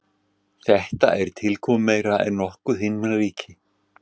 Þetta er tilkomumeira en nokkuð himnaríki.